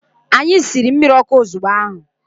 Anyi siri mmirọkụ ozubgo ahu.